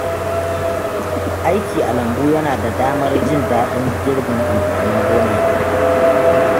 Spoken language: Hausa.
Aiki a lambu yana ba da damar jin daɗin girbin amfanin gona.